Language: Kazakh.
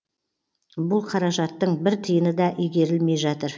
бұл қаражаттың бір тиыны да игерілмей жатыр